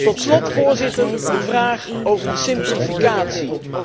Tot slot, Voorzitter, de vraag over de simplificatie.